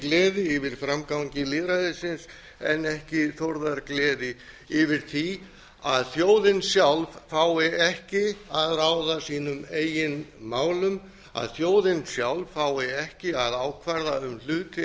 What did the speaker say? gleði yfir framgangi lýðræðisins en ekki þórðargleði yfir því að þjóðin sjálf fái ekki að ráða sínum eigin málum að þjóðin sjálf fái ekki að ákvarða um hluti